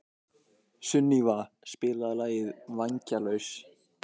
Sunníva, spilaðu lagið „Vængjalaus“.